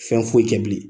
Fɛn foyi tɛ bilen